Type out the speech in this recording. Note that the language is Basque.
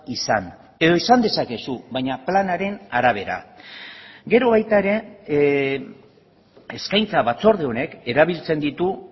izan edo izan dezakezu baina planaren arabera gero baita ere eskaintza batzorde honek erabiltzen ditu